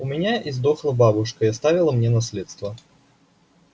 у меня издохла бабушка и оставила мне наследство